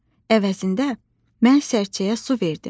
Əvəzində mən sərçəyə su verdim.